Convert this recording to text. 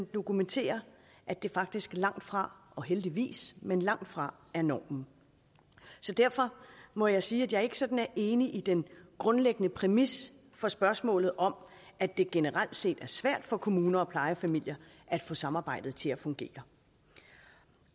dokumenterer at det faktisk langtfra og heldigvis men langtfra er normen derfor må jeg sige at jeg ikke sådan er enig i den grundlæggende præmis for spørgsmålet om at det generelt set er svært for kommuner og plejefamilier at få samarbejdet til at fungere